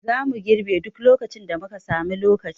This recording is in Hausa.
Zamu girbe duk lokacin da muka sami lokaci